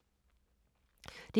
DR2